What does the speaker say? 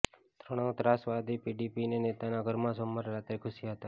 ત્રણ ત્રાસવાદી પીડીપીના નેતાના ઘરમાં સોમવારે રાત્રે ઘૂસ્યા હતા